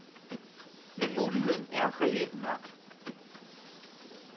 Men muligheden er reel nok.